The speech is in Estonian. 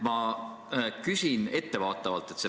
Ma küsin ettevaatavalt.